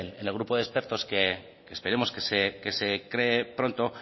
el grupo de expertos que esperemos que se cree pronto